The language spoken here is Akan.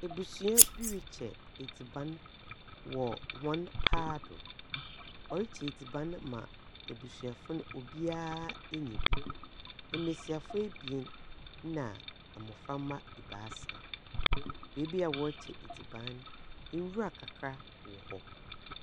Abusua bi rekyɛ adiban wɔ wɔn paado. Wɔrekyɛ adiban ma abusuafo obiara anya bi. Mmesiafo abien na mbɔframba abaasa. Baabi a wɔrekyɛ adiban no, nwura kakra wɔɔ hɔ.